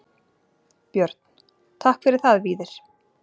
Björn: Takk fyrir það Víðir.